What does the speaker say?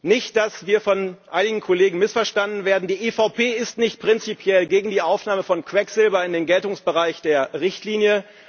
Nicht, dass wir von einigen Kollegen missverstanden werden Die EVP ist nicht prinzipiell gegen die Aufnahme von Quecksilber in den Geltungsbereich der Richtlinie.